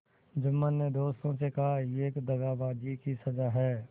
जुम्मन ने दोस्तों से कहायह दगाबाजी की सजा है